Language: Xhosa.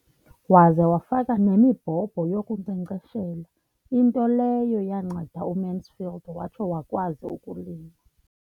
Waza wafaka nemibhobho yokunkcenkceshela, into leyo yanceda uMansfield watsho wakwazi ukulima.